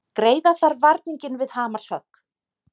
Greiða þarf varninginn við hamarshögg